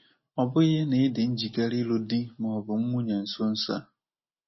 Ọ bụghị na ị dị njikere ịlụ di ma ọ bụ nwunye nso nso a.